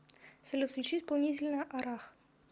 салют включи исполнителя арах